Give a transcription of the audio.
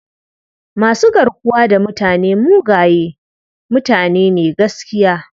Masu garkuwa da mutane mugaye mutane ne gaskiya..